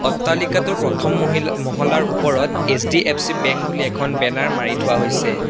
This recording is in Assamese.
অট্টালিকাটোৰ প্ৰথম মহিলা মহলাৰ ওপৰত এচ_ডি_এফ_চি বেংক বুলি এখন বেনাৰ মাৰি থোৱা হৈছে।